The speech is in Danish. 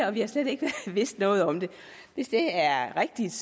og vi har slet ikke vidst noget om det hvis det er rigtigt